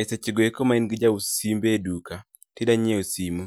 E sechego eko ma in gi jaus simbe e duka, tidanyiew simo,